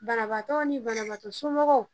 Banabagatɔw ni banabagatɔ somɔgɔw